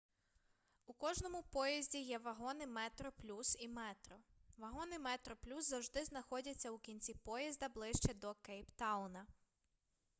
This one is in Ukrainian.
у кожному поїзді є вагони метроплюс і метро вагони метроплюс завжди знаходяться у кінці поїзда ближче до кейптауна